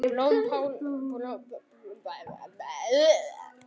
Blómkál bakað með osti